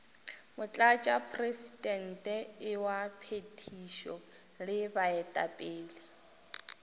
motlatšamopresidente wa phethišo le baetapele